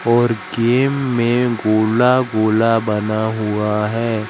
और गेम में गोला गोला बना हुआ है।